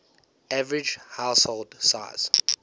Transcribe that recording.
average household size